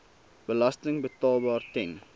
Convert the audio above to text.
belasting betaalbaar ten